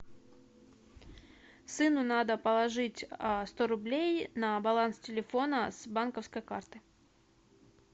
сыну надо положить сто рублей на баланс телефона с банковской карты